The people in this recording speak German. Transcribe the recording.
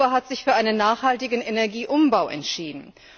Europa hat sich für einen nachhaltigen Energieumbau entschieden.